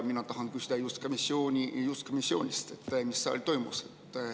Mina tahan küsida just komisjoni kohta, selle kohta, mis seal toimus.